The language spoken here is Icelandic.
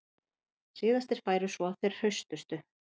Síðastir færu svo þeir hraustustu